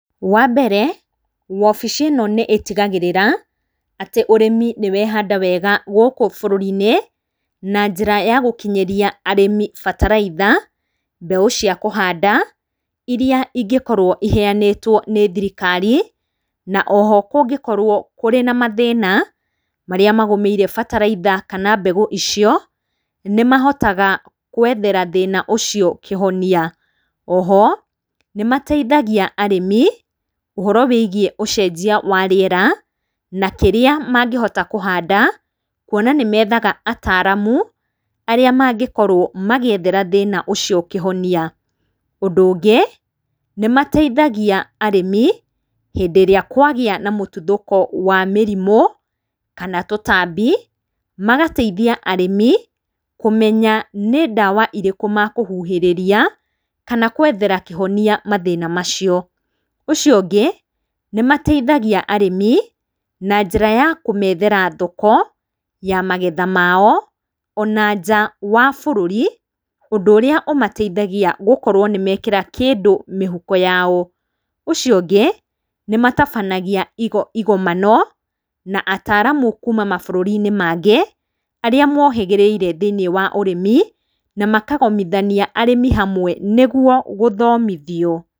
Wa mbere, wabici ĩno nĩ ĩtigagĩrĩra atĩ ũrĩmi nĩ wehanda wega gũkũ bũrũri-inĩ na njĩra ya gũkinyĩria arĩmi bataraitha, mbegũ cia kũhanda, iria ingĩkorwo iheanĩtwo nĩ thirikari, na oho kũngĩkorwo kũrĩ na mathĩna marĩa magũmĩire bataraitha kana mbegũ icio, nĩ mahota gũethera thĩna ũcio kĩhoni. Oho, nĩ mateithagia arĩmi, ũhoro wĩgiĩ ũcenjia wa rĩera na kĩrĩa mangĩhota kũhanda kuona nĩ methaga ataramu arĩa mangĩkorwo magĩethera thĩna ũcio kĩhonia. Ũndũ ũngĩ, nĩ mateithagia arĩmi hĩndĩ ĩrĩa kũagĩa na mũtuthũko wa mĩrimũ kana tũtambi, magateithia arĩmi, kũmenya nĩ ndawa irĩkũ mekũhuhĩrĩria kana gũethera kĩhonoa mathĩna macio. Ũcio ũngĩ, nĩ mateithagia arĩmi na njĩra ya kũmethera thoko ya magetha mao ona nja wa bũrũri ũndu ũrĩa ũmatheithagia gũkorwo nĩ mekĩra kĩndũ mĩhuko yao .Ũcio ũngĩ, nĩ matabanagia igomano , na ataramu kuuma mabũrũri-inĩ mangĩ, arĩa mohĩgĩrĩire thĩiniĩ wa ũrĩmi na makagomithania arĩmi hamwe nĩ guo gũthomithio.